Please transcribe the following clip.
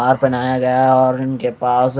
हार पेहनाया गया है और उनके पास--